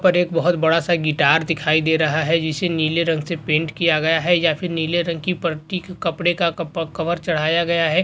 पर एक बहुत बड़ा सा गिटार दिखाई दे रहा है जिसे नीले रंग से पेंट किया गया है या फिर नीले रंग की पट्टी के कपड़े का कपड़ कवर चढ़ाया गया है।